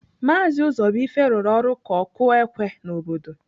Maazi Ụzọbuife rụrụ ọrụ ka ọkụ ékwé n'obodo.